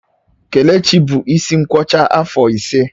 Kelechi bụ isi nkwọcha afọ ise